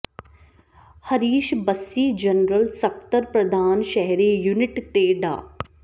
Harish Bassi general ਸਕੱਤਰ ਪ੍ਰਧਾਨ ਸ਼ਹਿਰੀ ਯੂਨਿਟ ਤੇ ਡਾ